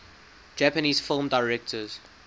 japanese film directors